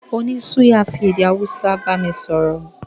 Oní suya fi èdè Hausa bámi sọ̀rọ̀